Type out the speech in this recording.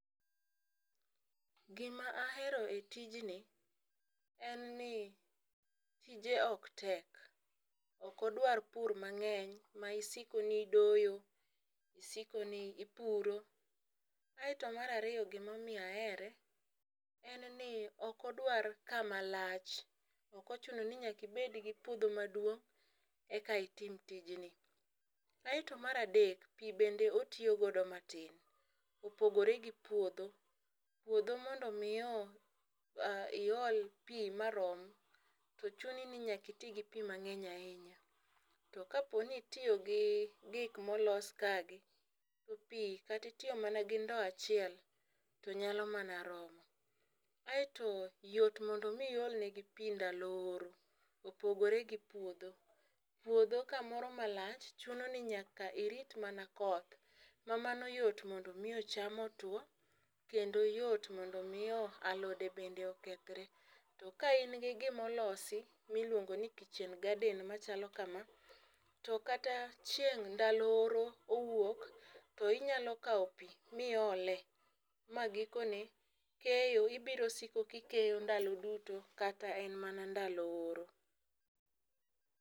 Gima ahero e tijni en ni tije ok tek, ok odwar pur mang'eny ma isiko ni idoyo ,isiko ni ipuro. Aeto mar ariyo gimomiyo ahere en ni okodwar kama lach, okochuno ni nyaki bed gi puodho maduong' eka itim tijni. Aeto mar adek pii bedne otiyo godo matin opogore gi puodho puodho mondo mi iol pii marom to chuni ni nyaki tii gi pii mang'eny ahinya . To kapo ni itiyo gi gik molos ka gi to pii kati tiyo gi ndoo achiel to nyuao mana romo. Aeto yot mondo mii iol ne gi pii ndalo oro opogore gi puodho uodho kamoro malach chuno ni nyaka rit mana koth ma mano yot mondo mi cham otwo kendo yot mondo omio alode bende okethre .To ka in gi gimolosi miluongo ni kitchen garden machalo kama to kata chieng' ndalo oro owuok tinyalo kawo oii miole ma gikone keyo ibiro siko kikeyo ndalo duto kata en mana ndalo oro.